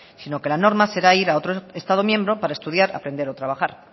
sino que la norma será ir a otro estado miembro para estudiar aprender o trabajar